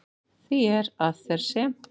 Því er, að þar sem